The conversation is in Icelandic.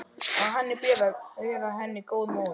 Og að henni ber að vera henni góð móðir.